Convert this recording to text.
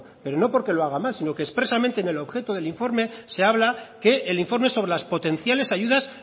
pero no porque lo haga mal sino que expresamente en el objeto del informe se habla que el informe sobre las potenciales ayudas